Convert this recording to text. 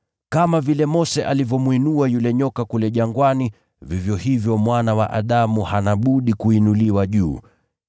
Kama vile Mose alivyomwinua yule nyoka kule jangwani, vivyo hivyo Mwana wa Adamu hana budi kuinuliwa juu.